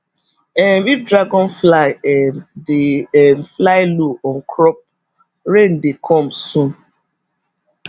um if dragonfly um dey um fly low on crop rain dey come soon